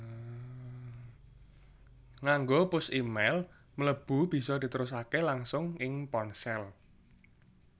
Nganggo push e mail mlebu bisa diterusaké langsung ing ponsel